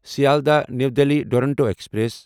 Sealdah new Delhi Duronto express